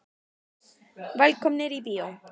Velkomnir í bíó.